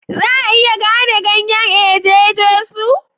Za a iya gane ganyen eje Jesu?